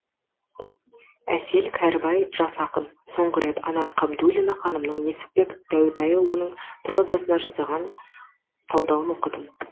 әсел кәрібай жас ақын соңғы рет анар кабдуллина ханымның несіпбек дәутайұлының прозасына жасаған талдауын оқыдым